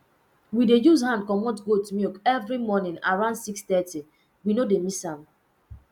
we dey use hand comot goat milk every morning around 630 we no dey miss am